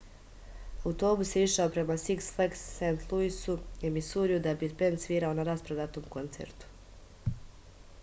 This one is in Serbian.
autobus je išao prema siks flags sv luisu u misuriju da bi bend svirao na rasprodatom koncertu